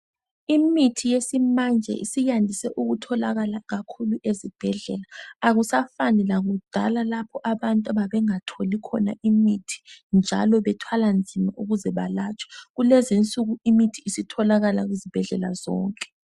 Imithi yesimanje isiyandise ukutholaka kakhulu ezibhedlela akusafani lakudala lapho abantu ababengatholi khona imithi njalo bethwala nzima ukuze balatshwe kulezi insuku imithi isitholakala izibhedlela zonke.